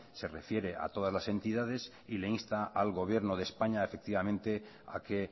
se refiere a todas las entidades y le insta al gobierno de españa efectivamente a que